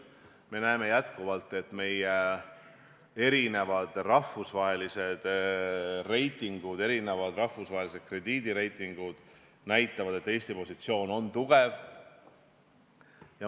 Me näeme, et meie rahvusvahelised reitingud, krediidireitingud näitavad endiselt, et Eesti positsioon on tugev.